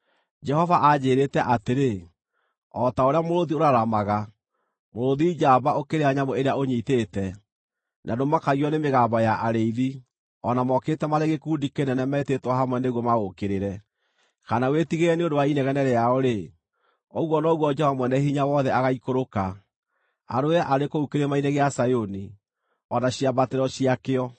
Jehova anjĩĩrĩte atĩrĩ: “O ta ũrĩa mũrũũthi ũraramaga, mũrũũthi njamba ũkĩrĩa nyamũ ĩrĩa ũnyiitĩte, na ndũmakagio nĩ mĩgambo ya arĩithi o na mokĩte marĩ gĩkundi kĩnene metĩtwo hamwe nĩguo maũũkĩrĩre, kana wĩtigĩre nĩ ũndũ wa inegene rĩao-rĩ, ũguo noguo Jehova Mwene-Hinya-Wothe agaikũrũka, arũe arĩ kũu Kĩrĩma-inĩ gĩa Zayuni, o na ciambatĩro ciakĩo.